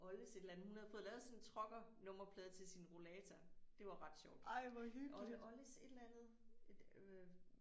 Oldes et eller andet hun havde fået lavet sådan en trucker nummerplade til sin rollator. Det var ret sjovt. Olde oldes et eller andet øh